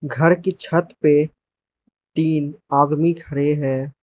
घर की छत पे तीन आदमी खड़े हैं।